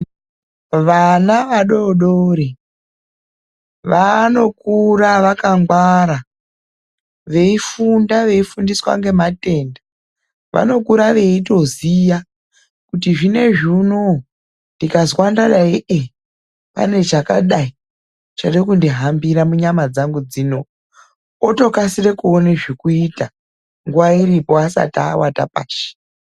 Vana vadoodori, vanokura vakangwara, veifunda veifundiswa ngematenda. Vanokura veitoziya kuti zvinezvi unowu ndikazwa ndadai, pane chakadai chiri kundihambira munyama dzangu dzino. Otokasire kuona zvekuita, nguwa iripo asati awata pashi.